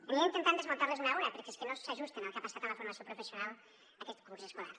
aniré intentant desmuntar les una a una perquè és que no s’ajusten al que ha passat amb la formació professional aquest curs escolar